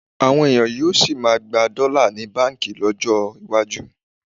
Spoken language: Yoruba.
Àwọn ènìyàn yóò sì máa gba dọ́là ní báǹkì lọ́jọ́ iwájú